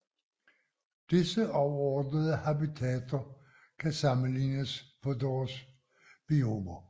Disse overordnede habitater kan sammelignes på deres biomer